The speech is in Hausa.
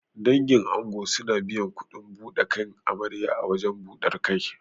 Dangin ango suna biyan kuɗin buɗe kan amarya a wajen ɓudar kai.